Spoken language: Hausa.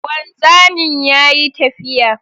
Wanzamin yayi tafiya